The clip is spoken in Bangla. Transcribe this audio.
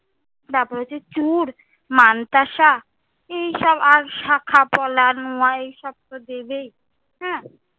তারপর হয়েছে চূড়, মানতাসা, এই সব আর শাখাপলা নোয়া এই সব তো দেবেই।